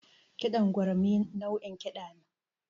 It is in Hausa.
Kiɗan gurmi nau'in kiɗa ne